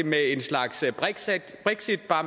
med en slags brexit bare